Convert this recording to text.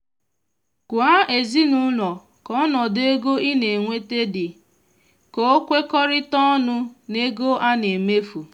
gwa ezinụlọ ka ọnọdụ ego ina enweta di ka o kwekọrịta ọnụ na ego ana emefu